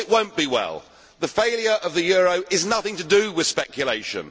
Well it will not be well. The failure of the euro is nothing to do with speculation.